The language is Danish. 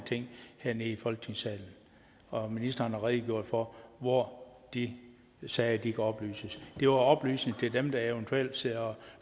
ting hernede i folketingsalen og ministeren har redegjort for hvor de sager kan oplyses det var oplysning til dem der eventuelt sidder og